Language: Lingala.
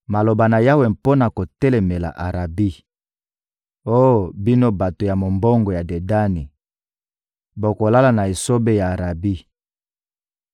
Maloba na Yawe mpo na kotelemela Arabi: Oh bino bato ya mombongo ya Dedani, bokolala na esobe ya Arabi.